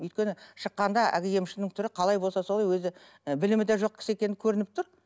өйткені шыққанда әлгі емшінің түрі қалай болса солай өзі ы білімі де жоқ кісі екені көрініп тұр